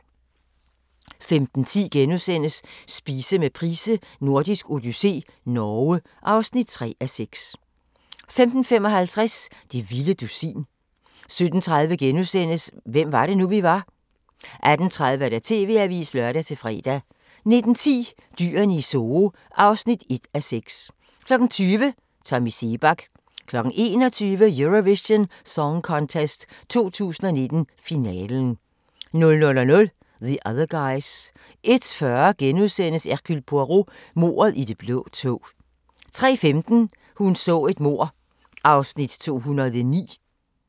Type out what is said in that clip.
15:10: Spise med Price: Nordisk odyssé - Norge (3:6)* 15:55: Det vilde dusin 17:30: Hvem var det, nu vi var? * 18:30: TV-avisen (lør-fre) 19:10: Dyrene i Zoo (1:6) 20:00: Tommy Seebach 21:00: Eurovision Song Contest 2019, finale 00:00: The Other Guys 01:40: Hercule Poirot: Mordet i det blå tog * 03:15: Hun så et mord (209:267)